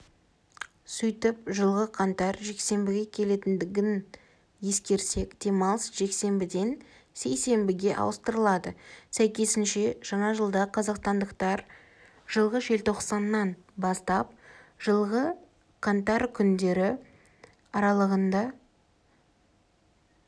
сөйтіп жылғы қаңтар жексенбіге келетіндігін ескерсек демалыс жексенбіден сейсенбіге ауыстырылады сәйкесінше жаңа жылда қазақстандықтар жылғы желтоқсаннан бастап жылғы қаңтар күндері аралығындак